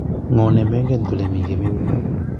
ng'o nemenget kole mi kemeut?